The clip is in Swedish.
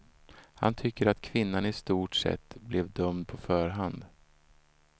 Han tycker att kvinnan i stort sett blev dömd på förhand.